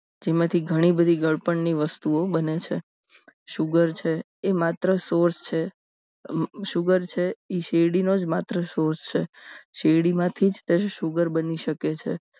જેમાંથી ઘણી બધી ગળપણ ની વસ્તુઓ બને છે source છે એ માત્ર sugar છે sugar છે એ શેરડીનો જ માત્ર છે શેરડીમાંથી જ તેને sugar બની શકે છે